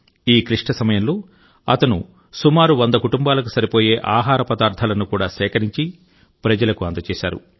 ఈ క్లిష్ట సమయంలో అతను సుమారు 100 కుటుంబాలకు సరిపోయే ఆహార పదార్థాలను కూడా సేకరించి ప్రజలకు అందజేశారు